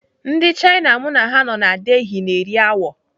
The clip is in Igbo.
Ndị Chaina m na ha nọ na Delhi na-eri awọ.